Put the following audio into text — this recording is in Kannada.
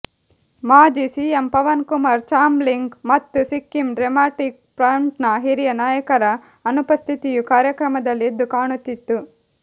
ಮಾಜಿ ಸಿಎಂ ಪವನ್ ಕುಮಾರ್ ಚಾಮ್ಲಿಂಗ್ ಮತ್ತು ಸಿಕ್ಕಿಂ ಡೆಮಾಕ್ರಾಟಿಕ್ ಫ್ರಂಟ್ನ ಹಿರಿಯ ನಾಯಕರ ಅನುಪಸ್ಥಿತಿಯು ಕಾರ್ಯಕ್ರಮದಲ್ಲಿ ಎದ್ದು ಕಾಣುತ್ತಿತ್ತು